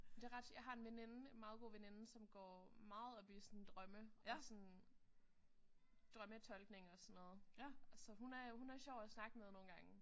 Det er ret jeg har en veninde en meget god veninde som går meget op i sådan drømme og sådan drømmetolkning og sådan noget. Så hun er hun er meget sjov at snakke med nogle gange